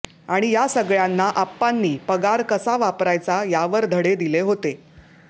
आणि या सगळ्यांना आप्पांनी पगार कसा वापरायचा यावर धडे दिले होते